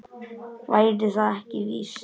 Væri það ekki víst?